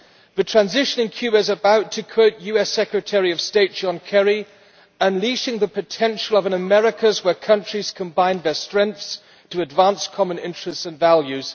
The transition in Cuba is about to quote US Secretary of State John Kerry unleashing the potential of an Americas where countries combine their strengths to advance common interests and values'.